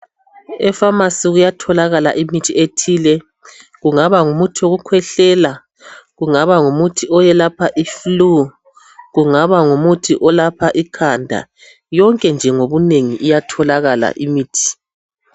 Epharmacy kuyatholakala imithi ethile kungaba ngumuthi wokukhwehlela , kungaba ngumuthi oyelapha iflue , kungaba ngumuthi olapha ikhanda , yonke nje ngobunengi iyatholakala imithi